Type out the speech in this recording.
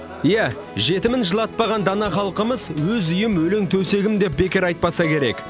иә жетімін жылатпаған дана халқымыз өз үйім өлең төсегім деп бекер айтпаса керек